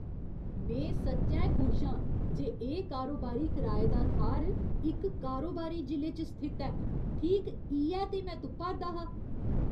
में सच्चैं खुश आं जे एह् कारोबारी कराए दा थाह्‌र इक कारोबारी जिले च स्थित ऐ। ठीक इ'यै ते में तुप्पा 'रदा हा।